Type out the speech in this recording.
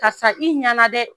Ka sa i ɲana dɛ.